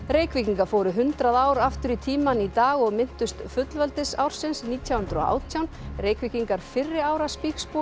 Reykvíkingar fóru hundrað ár aftur í tímann í dag og minntust nítján hundruð og átján Reykvíkingar fyrri ára